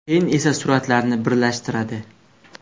Keyin esa suratlarni birlashtiradi.